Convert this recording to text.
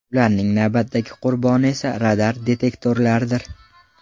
Ularning navbatdagi qurboni esa radar-detektorlardir.